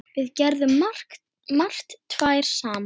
Við gerðum margt tvær saman.